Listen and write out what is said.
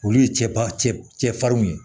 Olu ye cɛfarinw ye